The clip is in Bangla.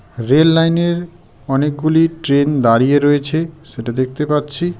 রেললাইনে অনেকগুলি ট্রেন দাঁড়িয়ে রয়েছে সেটা দেখতে পাচ্ছি।